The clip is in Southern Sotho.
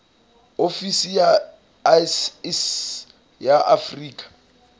ofisi ya iss ya afrika